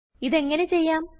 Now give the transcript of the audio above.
ഇത് എങ്ങനെ ചെയ്യാം